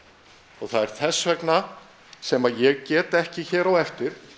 og það er þess vegna sem ég get ekki hér á eftir